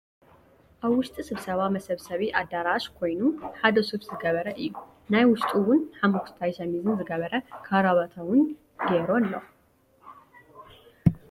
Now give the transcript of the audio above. ኣብ ውሽጢ ስብሰባ መሰብሰቢ ኣደራሸ ኮንዩ ሓደ ሱፍ ዝገበረ እዩ። ናይ ውሽጡ እውንሓሞክሽታይን ሸሚዝ ዝገበረን ካራባታ እውን ገይሩ ኣሎ ።